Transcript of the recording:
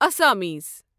اسامسیٖز